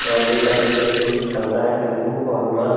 और ये सब डीज़ल पे चलता है टैम्पू और बस --